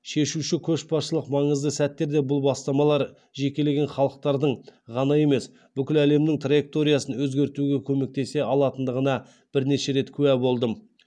шешуші көшбасшылық маңызды сәттерде бұл бастамалар жекелеген халықтардың ғана емес бүкіл әлемнің траекториясын өзгертуге көмектесе алатындығына бірнеше рет куә болдым